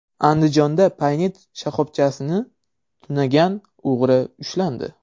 Andijonda Paynet shoxobchasini tunagan o‘g‘ri ushlandi.